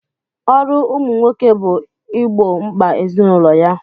Ọrụ ụmụ nwoke bụ igbo mkpa ezinụlọ ya.